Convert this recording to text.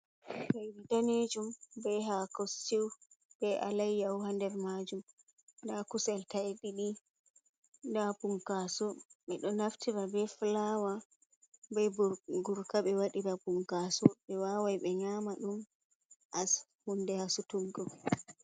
Plate danejum be hako stew be alayyaho ha nder majum ,nda kusel ta'e ɗiɗi da punkaso ɓeɗo naftira be flawa bei gurka be waɗira punkaso ɓe wawai ɓe nyama ɗum as hunde hasutuggo.